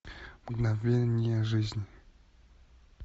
мгновения жизни